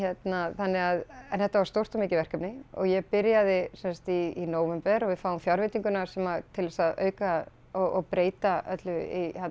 þannig að þetta var stórt og mikið verkefni og ég byrjaði sem sagt í nóvember og við fáum fjárveitinguna svona til þess að auka og breyta öllu í